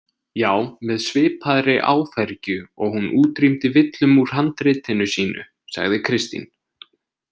Já, með svipaðri áfergju og hún útrýmdi villum úr handritinu sínu, sagði Kristín.